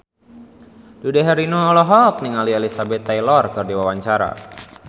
Dude Herlino olohok ningali Elizabeth Taylor keur diwawancara